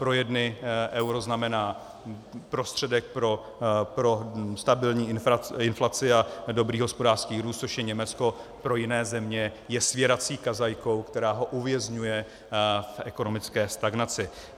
Pro jedny euro znamená prostředek pro stabilní inflaci a dobrý hospodářský růst, což je Německo, pro jiné země je svěrací kazajkou, která ho uvězňuje v ekonomické stagnaci.